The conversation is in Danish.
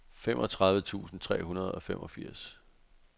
femogtredive tusind tre hundrede og femogfirs